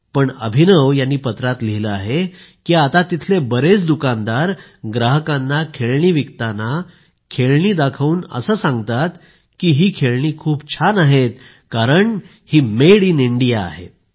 पण अभिनव यांनी पत्रात लिहिले आहे की आता तिथले बरेच दुकानदार ग्राहकांना खेळणी विकताना खेळणी दाखवून असे सांगताना की ही खेळणी खूप छान आहेत कारण ही मेड इन इंडिया आहेत